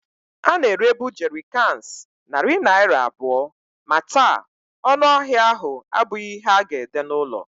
A na-erebu Jerrycans narị naira abụọ, ma taa, ọnụ ahịa ahụ abụghị ihe a ga-ede n'ụlọ.